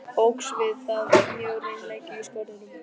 Óx við það mjög reimleiki í Skörðunum.